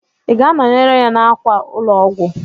Ị ga-anọnyere ya n'àkwà ụlọ ọgwụ?